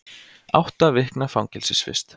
Átta vikna fangelsisvist